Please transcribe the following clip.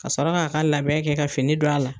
Ka sɔrɔ k'a ka labɛn kɛ ka fini don a la.